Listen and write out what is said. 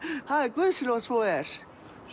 guði sé lof að svo er